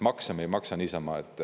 Makse ei maksa me niisama.